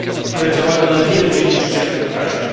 które wpływają na wiele dziedzin życia w tych krajach.